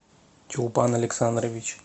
чулпан александрович